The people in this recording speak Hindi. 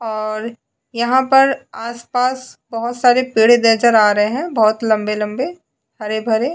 और यहां पर आसपास बहुत सारे पीढ़े नजर आ रहे हैं बहुत लंबे-लंबे हरे भरे।